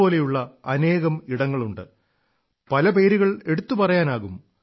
പോലുള്ള അനേകം ഇടങ്ങളുണ്ട് പല പേരുകൾ എടുത്തു പറയാനാകും